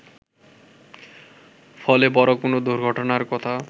ফলে বড় কোন দুর্ঘটনার কথা